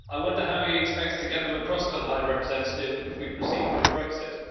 I wonder how he expects to get them across to the High Representative if we proceed with Brexit.